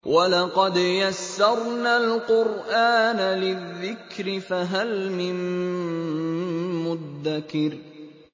وَلَقَدْ يَسَّرْنَا الْقُرْآنَ لِلذِّكْرِ فَهَلْ مِن مُّدَّكِرٍ